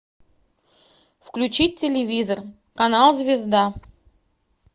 включить телевизор канал звезда